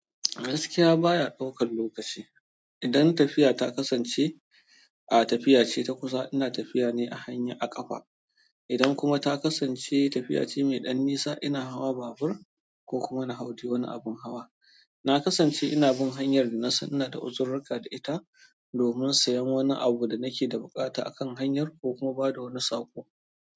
Gaskiya baya ɗaukar lokaci. Idan tafiya ta kasance, a tafiya ce ta kusa ina tafiya ne a hanya a ƙafa. Idan kuma ta kasance tafiya ce mai ɗan nisa ina hawa babur ko kuma na hau dai wani abin hawa. Na kasance ina bin hanyar da na san ina da uzururka da ita domin siyan wani abu da nake da buƙata a kan hanyar ko kuma ba da wani saƙo.